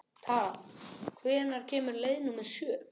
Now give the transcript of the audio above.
Tara, hvenær kemur leið númer sjö?